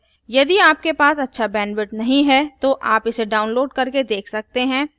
यदि आपके पास अच्छा bandwidth नहीं है तो आप इसे download करके देख सकते हैं